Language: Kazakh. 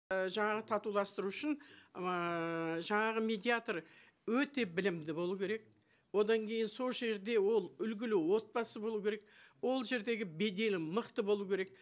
і жаңағы татуластыру үшін ііі жаңағы медиатор өте білімді болу керек одан кейін сол жерде ол үлгілі отбасы болу керек ол жердегі беделі мықты болу керек